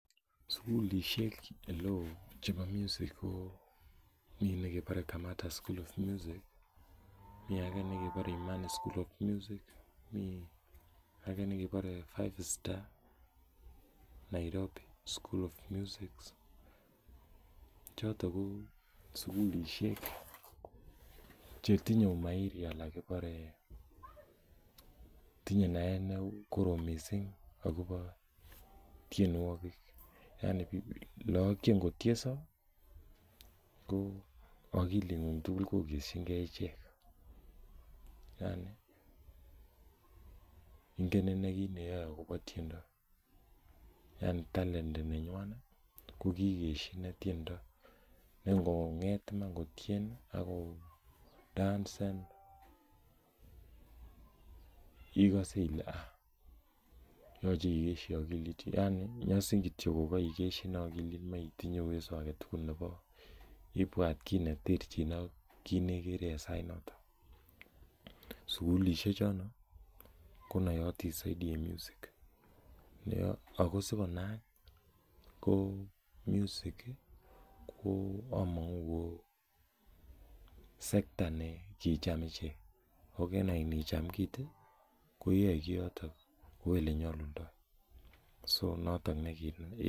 Sugulisiek eleoo chebo music koo minekebare Imani school, minekebare five-star, Nairobi school of music, choto ko sugulisiek chetinye umairi bik alak kotinye naet nekorom missing akoba tienuokik aani lakok che katienso ko agilit nyin tugul ko ingen inei akobo tiendo kasit nyuan kokikesyi tiendo , kong'et iman kotieny ko dansen ilose Ile ah , yaani nyasin ko en agilit ibuat ki sugulisiek choton chenaatin en music akosi konaak ko amang'uu sector kocham icheket en icham kit iyae Kioto kouu ele nyalundo